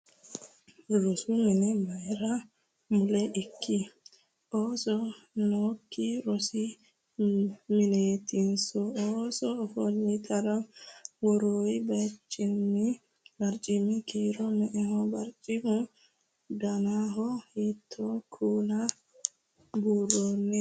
Rosu mini mayiira mulla ikki? Ooso nookki rosi mineetinso? Ooso ofolitara worroyi baricimi kiiro me'eho? Barichimu danano hiitto kuula buurroyi?